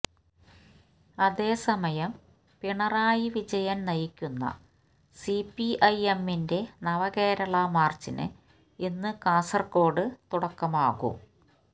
അതേസമയം പിണറായി വിജയന് നയിക്കുന്ന സിപിഐഎമ്മിന്റെ നവകേരള മാര്ച്ചിന് ഇന്ന് കാസര്കോട് തുടക്കമാകും